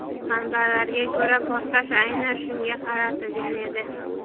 Manbalarga ko‘ra, portlash aynan shunga qaratilgan edi.